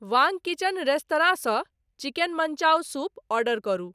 वांग kitchen restaurant सँ chicken manchow soup order करू